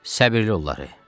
Səbirli ol, Lorey.